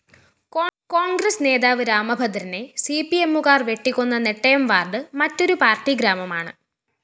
കോണ്‍ഗ്രസ് നേതാവ് രാമഭദ്രനെ സിപിഎമ്മുകാര്‍ വെട്ടിക്കൊന്ന നെട്ടയംവാര്‍ഡ് മറ്റൊരു പാര്‍ട്ടിഗ്രാമമാണ്